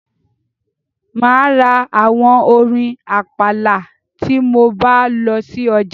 Mà á ra àwo orin àpàlà tí mo bá lọ sí ọjà.